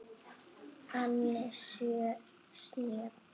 Ansi snjöll!